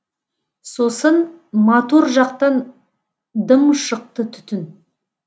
сосын мотор жақтан дым шықты түтін